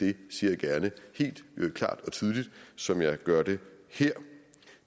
det siger jeg gerne helt klart og tydeligt som jeg gør det her